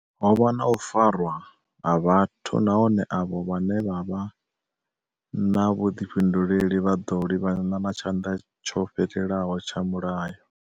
Ho vha na u farwa ha vhathu nahone avho vhane vha vha na vhuḓifhinduleli vha ḓo livhana na tshanḓa tsho fhelelaho tsha mulayo.